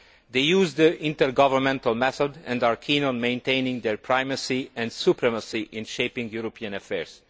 They are using the intergovernmental method and are keen on maintaining their primacy and supremacy in shaping European affairs.